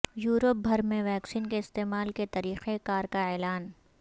Europe بھر میں vaccine کے استعمال کے طریقہ کار کا اعلان